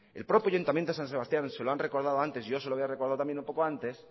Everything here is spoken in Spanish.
el propio ayuntamiento de san sebastián se lo han recordado antes yo se lo voy a recordar también un poco antes